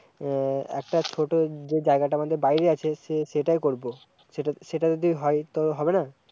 এ-একটা ছোট্ট যে জায়গাটা আমাদের বাইরে আছে, সে-সেইটাই করব, সেট-সেটায়ে যদি হয়, তো হবেনা